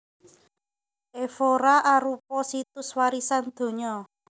Évora arupa Situs Warisan Donya